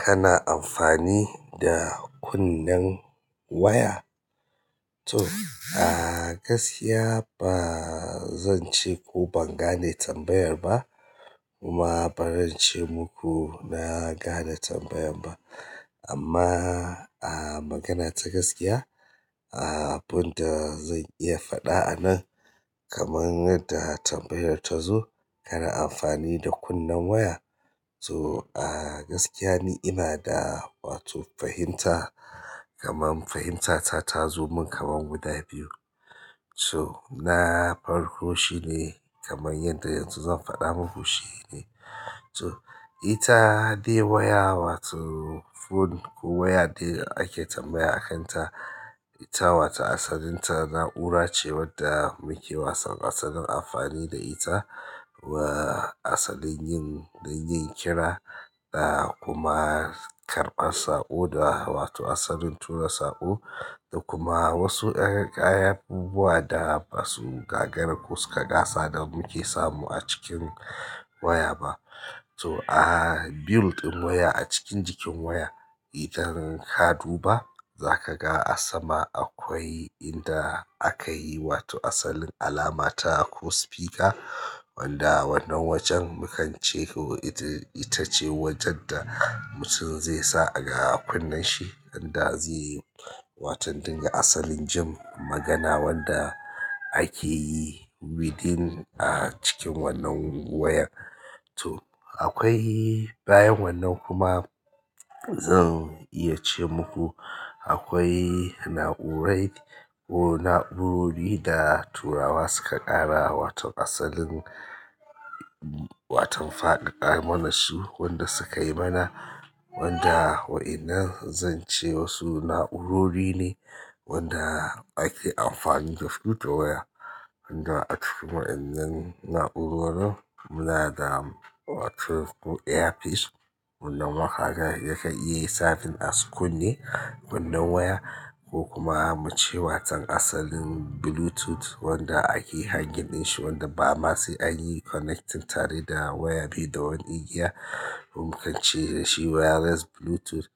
Kana amfani da kunnen waya. To a gaskiya ba zan ce ko ban gane tambayar ba kuma ba zan ce muku na gane tambayar ba. Amma, ah magana ta gaskiya ah. Abinda ya faɗa a nan kamar yadda tambayar tazo, "kana amfani da kunne wata". So a gaskiya ni ina da wato fahimta kamar fahimtata ta zo min kamar guda biyu. So na farko shine kamar yadda yanzu zan faɗa muku shine ita dai waya wato phone ko waya dai da ake tambaya a kan ta. Ita wato asalin ta na'ura ce wadda muke wasan asalin amfani da ita wa asalin yin don yin kira dakuma karɓar saƙo da wato asalin tura saƙo da kuma wasu kayayyaki da abubuwa da basu gagara ko suka ƙasa da muke samu a cikin waya ba. To a built ɗin waya a cikin jikin waya, itan ka duba za ka ga a sama akwai inda aka yi wato asalin alama ta ko speaker wanda wannan wajen mukan ce ko itace wajen da mutum zai sa a ga kunnen shi idan da zai yi watan dinga asalin jin magana wanda ake yi within ah cikin wannan waya. To akwai bayan wannan kuma zan iya ce muku akwai na'urai ko na'urori da turawa suka ƙara wato asalin waton faɗaɗa mana su wanda su kai mana wanda wa'inan zan ce wasu na'urori ne wanda ake amfani da su da waya. Wanda a cikin wa'inan na'urorin muna da wato earpiece wannan waƙa yake iya yi service a kunne kunnen waya ko kuma muce wato asalin Bluetooth wanda ake hangiɗin shi wanda ba ma sai an yi connecting tare da waya bai da wani igiya. Mun kan ce dashi wireless Bluetooth.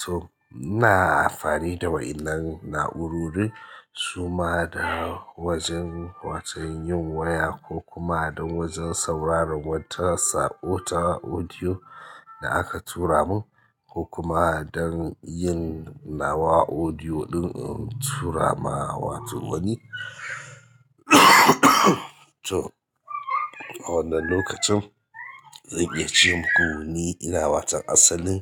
To, muna amfani da wa'inan na'urorin suma da wajen watau yin waya ko kuma don wajen sauraron wata saƙo ta audio da aka tura mun ko kuma don yin nawa audio ɗin in tura ma wato wani. To, a wannan lokacin zan iya ce muku ni ina watau asalin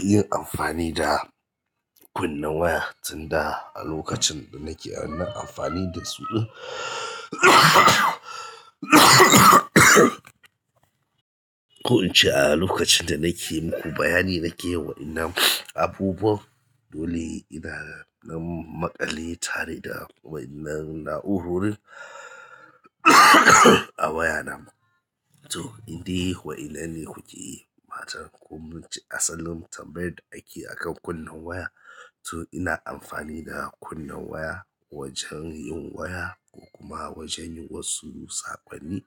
yin amfani da kunnen waya tunda a lokacin da nake amfani da su ɗin ko in ce a lokacin da nake muku bayani nake wa'inan abubuwa dole ina na maƙale tare da wa'inan na'urori a waya na. To, indai yi wa'innan ne kuke yi ba tare da kun bincika asalin tambayar da ake akan kunnen waya. To ina amfani da kunnen waya wajen yin waya ko kuma wajen yin wasu saƙonni.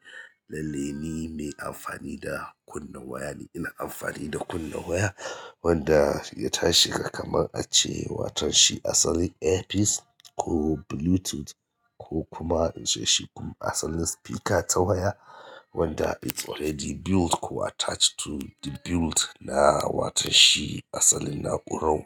Lallai ni mai amfani da kunne waya ne. Ina amfani da kunnen waya wanda ya tashi ka kamar ace watan shi asali earpiece ko Bluetooth ko kuma in ce shi asalin speaker ta waya wanda yake already built ko attached to the built na waton shi asalin na'urar waya.